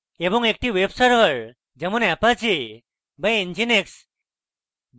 এবং একটি web server যেমন apache বা nginx